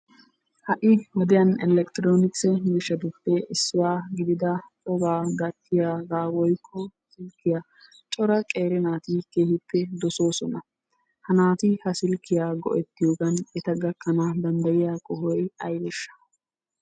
Ha'i wodiyaan elektronksse miishshaattuppe issuwaa gidida cogga gattiyaga woykko silkkiyaa cora qeeri naati keehippe dossossona. Ha naati ha silkkiyaa go'ettiyoogan etta gakkana dandayiyaa qohoy aybeesha?